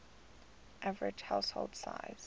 average household size